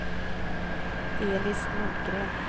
Elis Nordgren